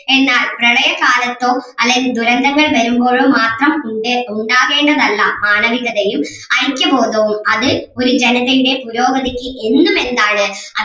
എന്നാൽ പ്രളയകാലത്തും അല്ലെങ്കിൽ ദുരന്തങ്ങൾ വരുമ്പോഴും മാത്രം ഉണ്ടാകേണ്ടതല്ല മാനവികതയും ഐക്യബോധവും അത് ഒരു ജനതയുടെ പുരോഗതിക്ക് എന്നും എന്താണ്?